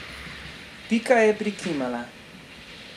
Pika je prikimala.